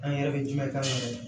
An yɛrɛ bɛ jumɛn k'an yɛrɛ ye